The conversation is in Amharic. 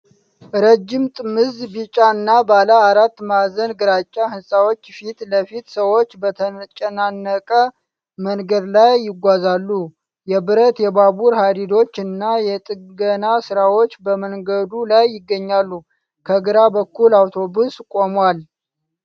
ረጅም ጥምዝ ቢጫ እና ባለ አራት ማዕዘን ግራጫ ሕንፃዎች ፊት ለፊት ሰዎች በተጨናነቀ መንገድ ላይ ይጓዛሉ። የብረት የባቡር ሐዲዶች እና የጥገና ሥራዎች በመንገዱ ላይ ይገኛሉ። ከግራ በኩል አውቶቡስ ቆሟል።